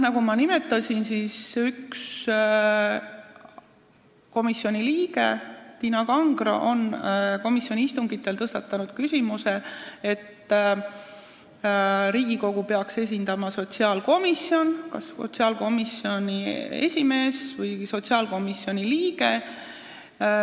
Nagu ma nimetasin, üks komisjoni liige, Tiina Kangro, tõstatas komisjoni istungitel selle küsimuse, et tema arvates peaks nõukogus Riigikogu esindama sotsiaalkomisjon, selle esimees või liige.